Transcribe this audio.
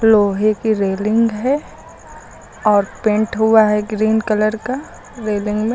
लोहे की रेलिंग है और पेंट हुआ है ग्रीन कलर का रेलिंग में।